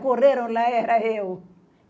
Correram lá e era eu.